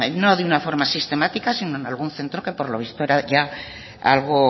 no de una forma sistemáticas sino en algún centro que por lo visto era ya algo